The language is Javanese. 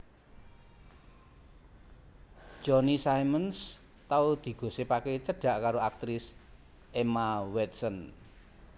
Johnny Simmons tau digosipake cedhak karo aktris Emma Watson